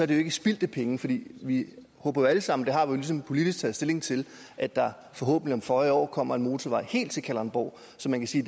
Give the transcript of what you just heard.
det jo ikke spildte penge fordi vi håber alle sammen det har vi ligesom politisk taget stilling til at der forhåbentlig om føje år kommer en motorvej helt til kalundborg så man kan sige